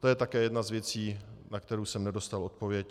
To je také jedna z věcí, na kterou jsem nedostal odpověď.